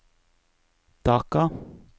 Dhaka